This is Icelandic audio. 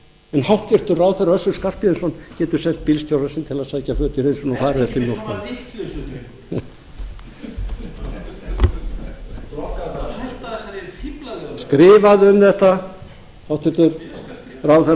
en hæstvirtur ráðherra össur skarphéðinsson getur sent bílstjóra sinn til sækja föt í hreinsun og fara vertu ekki með svona vitleysu drengur hætta þessari fíflalegu það var skrifað um þetta hæstvirtur ráðherra skrifaði um